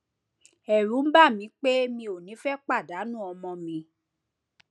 ẹrù ń bà mí pé mi ò ní fẹ pàdánù ọmọ mi